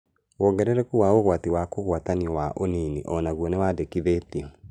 Wongerereku wa ũgwati wa kũgwatanio wa ũnini onaguo nĩwandĩkithĩtio